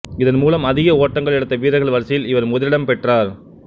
இதன்மூலம் அதிக ஓட்டங்கள் எடுத்த வீரர்கள் வரிசையில் இவர் முதலிடம் பெற்றார்